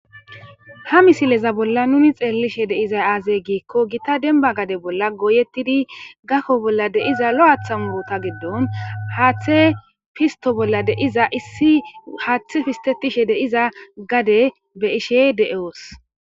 ha misileza bolla nuni xeellishe deizay aazay giikko gita denba gade bolla goyettidi gakko bolla deiza lo7aathan woota giddon haaththe fisto bolla deiza issi haaththe fistetishe deiza gade be ishe de7oos